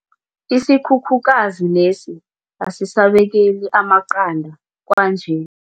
Isikhukhukazi lesi asisabekeli amaqanda kwanje.